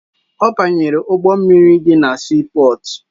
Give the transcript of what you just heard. Ọ banyere ụgbọ mmiri dị na siipọọtụ